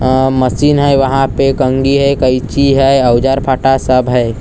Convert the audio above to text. अ machine हैं वहां पे कंघी हैं कैंची हैं औजार फाठा सब हैं।